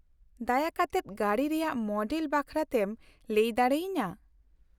-ᱫᱟᱭᱟ ᱠᱟᱛᱮᱫ ᱜᱟᱹᱰᱤ ᱨᱮᱭᱟᱜ ᱢᱚᱰᱮᱞ ᱵᱟᱠᱷᱨᱟᱛᱮᱢ ᱞᱟᱹᱭ ᱫᱟᱲᱮᱭᱟᱹᱧᱟᱹ ᱾